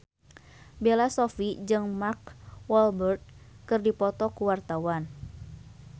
Bella Shofie jeung Mark Walberg keur dipoto ku wartawan